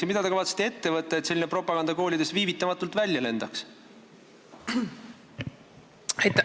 Ja mida te kavatsete ette võtta, et selline propaganda koolidest viivitamatult välja lendaks?